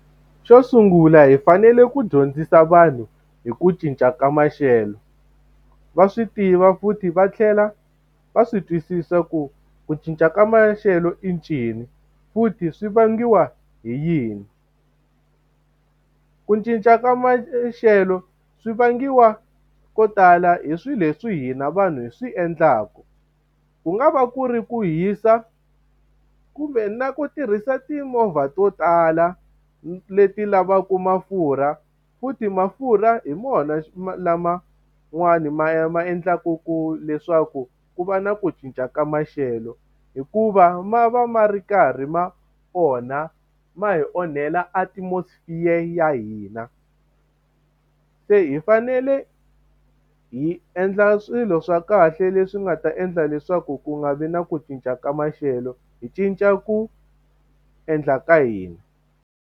Xo sungula hi fanele ku dyondzisa vanhu hi ku cinca ka maxelo, va swi tiva futhi va tlhela va swi twisisa ku ku cinca ka maxelo i ncini, futhi swi vangiwa hi yini. Ku cinca ka maxelo swi vangiwa ko tala hi swilo leswi hina vanhu hi swi endlaka. Ku nga va ku ri ku hisa, kumbe na ku tirhisa timovha to tala leti lavaka mafurha. Futhi mafurha hi wona laman'wani ma ma endlaku ku leswaku ku va na ku cinca ka maxelo, hikuva ma va ma ri karhi ma onha, ma hi onhela atmosphere ya hina. Se hi fanele hi endla swilo swa kahle leswi nga ta endla leswaku ku nga vi na ku cinca ka maxelo, hi cinca ku endla ka hina.